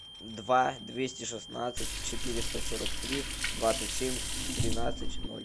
два двести шестнадцать четыреста сорок три двадцать семь тринадцать ноль